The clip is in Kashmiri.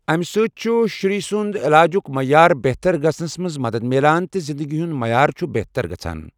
امہِ سۭتۍ چھُ شُرۍ سنٛدۍ علاجُک معیار بہتر گژھنَس منٛز مدد مِلان تہٕ زندگی ہُنٛد معیار چھُ بہتر گژھان۔